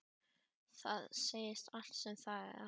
Það segir allt sem segja þarf.